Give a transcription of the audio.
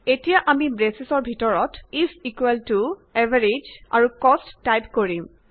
এতিয়া আমি ব্ৰেচৰ ভিতৰত ইজ ইকুৱেল টু এভাৰেজ আৰু কষ্ট টাইপ কৰিম